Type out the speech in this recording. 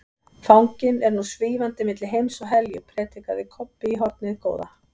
Fanginn er nú SVÍFANDI MILLI HEIMS OG HELJU, predikaði Kobbi í hornið góða.